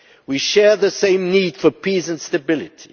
we share the same need for peace and stability.